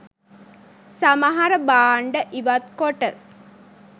සමහර භාණ්ඩ ඉවත්කොට